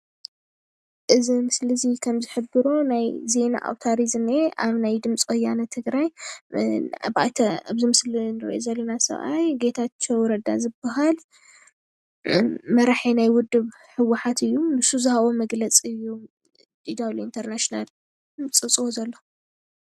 እዚ ምስሊ እዚ ከም ዝሕብሮ ከም ዜና አውታር እዪ ዝኒሀ አብ ናይ ድምፂ ወያነ ትግራይ እብዚ ምስሊ እንሪኦ ዘለና ሰብአይ ጌታቸው ረዳ ዝብሃል መራሒ ናይ ውድብ ህውሓት እዩ ንሱ ዝሃቦም መግለፂ እዩ ዲዳብሊው ኢንተር ናሽናል ዝፅብፅቦ ዘሎ።